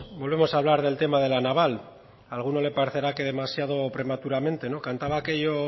volvemos a hablar del tema de la naval a alguno le parecerá que demasiado prematuramente cantaba